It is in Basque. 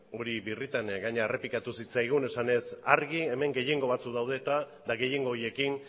hori birritan errepikatu zitzaigun esanez argi hemen gehiengo batzuk daude eta eta gehiengo horiekin